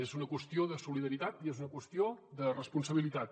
és una qüestió de solidaritat i és una qüestió de responsabilitat